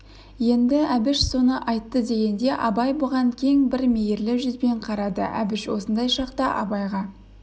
енді әбіш соны айтты дегенде абай бұған кең бір мейірлі жүзбен қарады әбіш осындай шақта абайға